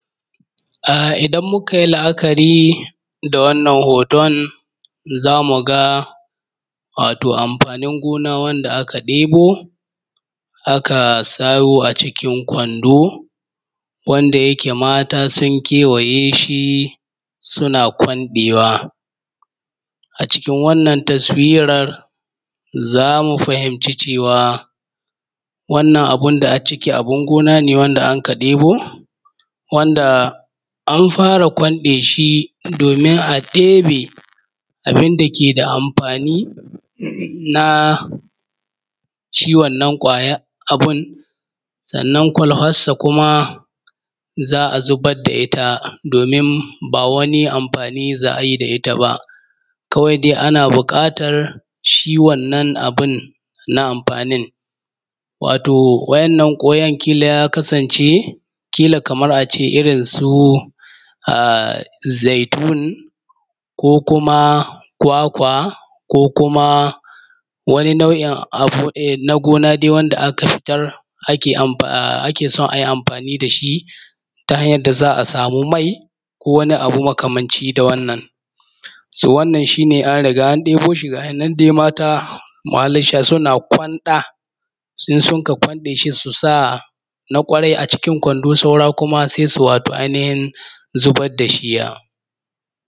A idan mukayi la’akari da wannan hoton zamuga amfanin gona wabda aka ɗibo aka sa a cikin Kwando wana yake matas sun kewayeshi suna kwanɗewa a cikin wannan taswiran zamu fahinci cewa wannan abunda acciki gona ne wanda aka ɗebo wanda anfara kwanɗeshidomin a ɗebe abinda keda amfani nashi wannan kwayan abun. Sannan kwalfassa kuma za’a zubadda itta domin ba wani amfani za’ayi da itta ba, kawai dai ana buƙatar shi wannan abun na amfanin. Wato wa ‘yan’ nan ƙolon kila ya kasance kila Kaman ace irrin su zaitun ko kwakwa ko kuma wani nau’in dai na gona daeboi wanda aka fitar, akeson ayi amfani dashi ta hanyan da za’a sami mai akeson ayi amfani da wannan. So wannan shine dai gayinan an riga an ɗeboshi gayinan mata suna kwanɗasai suka kwanbɗeshi Susana kwarai a cikin Kwando saura kuma sais u wato ai nihin yaddashi.